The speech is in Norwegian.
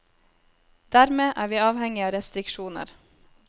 Dermed er vi avhengig av restriksjoner.